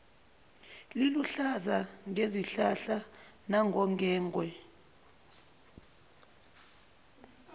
liluhlaza ngezihlahla nangongwengwe